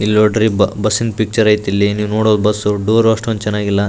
ಇಲ್ಲಿನೋಡ್ರಿ ಬ ಬುಸ್ಸಿನ್ ಪಿಕ್ಚರ್ ಐತಿಲ್ಲಿ ನೀವ್ ನೋಡೋ ಬಸ್ಸು ಡೊರು ಅಷ್ಟೊಂದ್ ಚೆನ್ನಾಗಿಲ್ಲ.